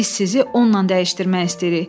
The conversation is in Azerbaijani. Biz sizi onunla dəyişdirmək istəyirik.